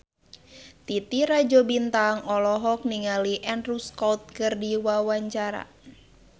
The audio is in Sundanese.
Titi Rajo Bintang olohok ningali Andrew Scott keur diwawancara